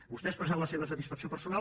vostè ha expressat la seva satisfacció personal